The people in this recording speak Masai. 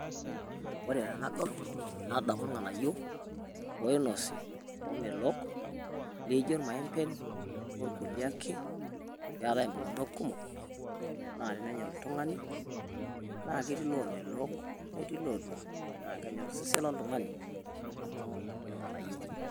Ore tenadol nadamu ilng'anayo loinosi omeelok leijo maembeen o kulee ake. Pee etai oltung'anak kumok naa ninyaa oltung'ani naa ketii loomelok letii loodua naa kenyorr sesen oltung'ani amu lng'ananyok.